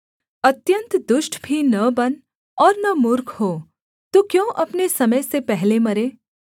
अत्यन्त दुष्ट भी न बन और न मूर्ख हो तू क्यों अपने समय से पहले मरे